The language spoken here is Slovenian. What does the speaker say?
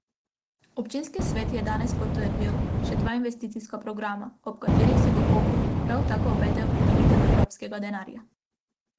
Občinski svet je danes potrdil še dva investicijska programa, od katerih si v Kopru prav tako obetajo pridobitev evropskega denarja.